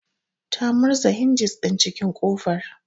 Ta murza hinjis din cikin kofar